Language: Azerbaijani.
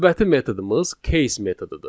Növbəti metodumuz case metodudur.